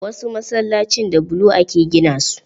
Wasu Masallacin da bulo aka gina su.